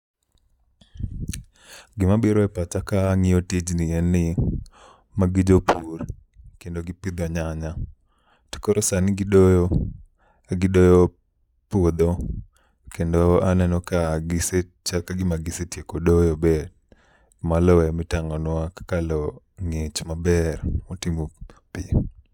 Gima biro e pacha ka ang'iyo tijni en ni, magi jopur to kendo gipidho nyanya. To koro sani gidoyo ka gidoyo puodho kendo aneno ka gise chal ka gima gisetieko doyo be. Ma lo emitang'onwa kaka lo ng'ich maber motimo pi.